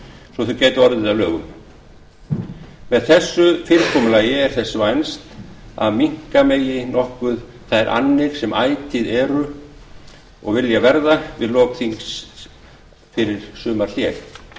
svo þau gætu orðið að lögum með þessu fyrirkomulagi er þess vænst að minnka megi nokkuð þær annir sem ætíð vilja verða við lok þingfunda fyrir sumarhlé